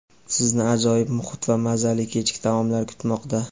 Sizni ajoyib muhit va mazali kechki taomlar kutmoqda.